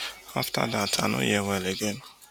afta dat i no hear well again